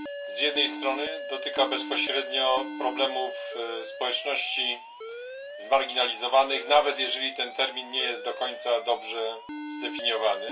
Z jednej strony dotyka bezpośrednio problemów społeczności zmarginalizowanych, nawet jeżeli ten termin nie jest do końca dobrze zdefiniowany.